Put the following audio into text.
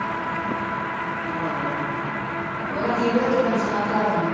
ਆਹੋ ਆਹੋ ਉਹਨਾਂ ਕੀ ਪਤਾ ਕਿੱਦਣ ਦੇਣਾ।